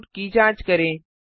output की जाँच करें